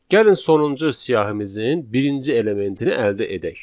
Gəlin sonuncu siyahımızın birinci elementini əldə edək.